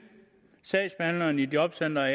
sagsbehandlerne i jobcentrene